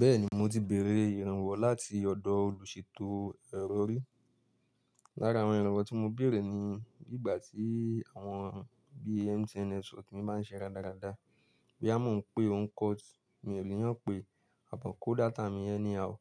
Bẹ́ẹ̀ni mo ti bèèrè ìrànwọ́ láti ọ̀dọ̀ olùṣètò ẹ̀rọ rí. Lára àwọn ìrànwọ́ tí mo bèèrè ni bí ìgbà tí àwọn bíi MTN network mi máa ń ṣe ra dáradára, bí a ń pe ó ń cut, mi ò níyàn pé àbọ̀ kó data mi ẹni àó.